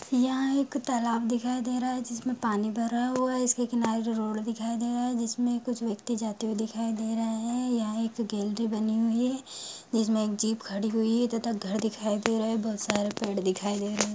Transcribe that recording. यहाँ एक तालाब दिखाई दे रहा है जिसमें पानी भरा हुआ हैं इसके किनारे एक रोड़ दिखाई दे रहा है जिसमें कुछ व्यक्ति जाते हुए दिखाई दे रहे हैं यहाँ एक गैलरी बनी हुई हैं इसमें एक जीप खड़ी हुई हैं तथा घर दिखाई दे रहे हैं बहुत सारे पेड़ दिखाई दे रहे हैं।